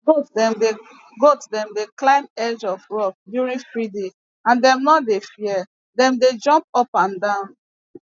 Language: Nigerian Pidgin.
goat dem dey goat dem dey climb edge of rock during feeding and dem nor dey fear dem dey jump up and down